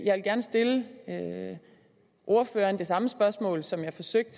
jeg vil gerne stille ordføreren det samme spørgsmål som jeg forsøgte